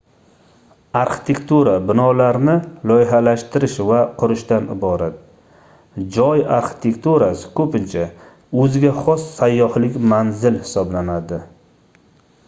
arxitektura binolarni loyihalashtirish va qurishdan iborat joy arxitekturasi koʻpincha oʻziga xos sayyohlik manzili hisoblanadi